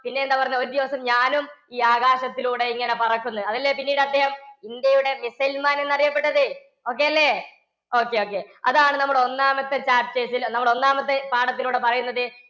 പിന്നെന്താ പറഞ്ഞെ. ഒരു ദിവസം ഞാനും ഈ ആകാശത്തിലൂടെ ഇങ്ങനെ പറക്കും ന്ന്. അതല്ലേ പിന്നീടദ്ദേഹം ഇന്ത്യയുടെ missile man എന്നറിയപ്പെട്ടത്. okay അല്ലേ? okay okay അതാണ്‌ നമ്മുടെ ഒന്നാമത്തെ chapters ല്ലേ? നമ്മുടെ ഒന്നാമത്തെ പാഠത്തിലൂടെ പറയുന്നത്.